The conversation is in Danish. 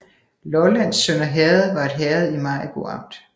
Lollands Sønder Herred var et herred i Maribo Amt